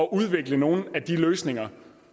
udvikle nogle af de løsninger